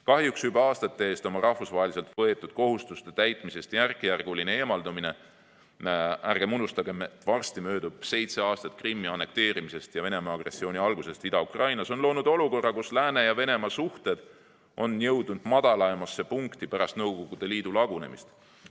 Kahjuks on Venemaa juba aastate eest oma rahvusvaheliselt võetud kohustuste täitmisest järk-järgult eemaldunud – ärgem unustagem, et varsti möödub seitse aastat Krimmi annekteerimisest ja Venemaa agressiooni algusest Ida-Ukrainas –, mis on loonud olukorra, kus lääne ja Venemaa suhted on jõudnud madalaimasse punkti pärast Nõukogude Liidu lagunemist.